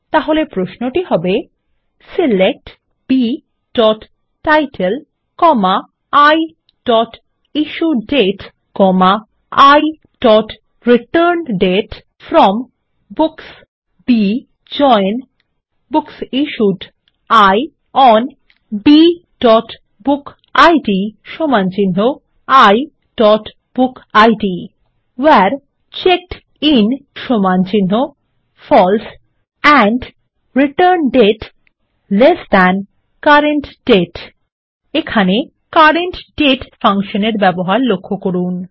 তাহলে প্রশ্নটি হবে160 সিলেক্ট bটাইটেল iইস্যুডেট iরিটার্ন্ডেট from books B join books issued I on bবুকিড iবুকিড where checked in false and returned date ল্ট CURRENT DATE এখানে CURRENT DATE ফাংশন এর ব্যবহার লক্ষ্য করুন